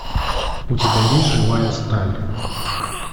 у тебя есть живая сталь